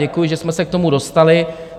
Děkuji, že jsme se k tomu dostali.